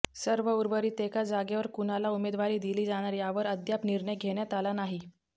तर उर्वरीत एका जागेवर कुणाला उमेदवारी दिली जाणार यावर अद्याप निर्णय घेण्यात आला नाही